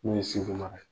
Min ye segu mara ye